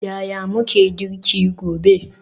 Yaya muke girki gobe?